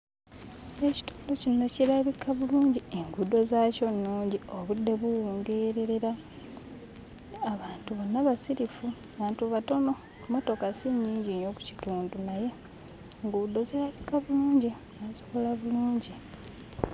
Ekitundu kino kirabika bulungi. Enguudo zaakyo nnungi, obudde buwungeererera, abantu bonna basirifu, abantu batono, emmotoka si nnyingi nnyo ku kitundu naye enguudo zirabika bulungi; baazikola bulungi.